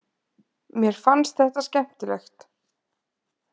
Mér fannst þetta skemmtilegt.